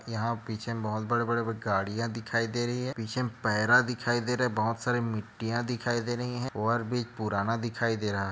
यहाँ पीछे में बहोत बड़े - बड़े गाडियाँ दिखाई दे रही है पीछे में पैरा दिखाई दे रहा है बहोत सारे मिट्टियाँ दिखाई दे रही है ओवरब्रिज पुराना दिखाई दे रहा है।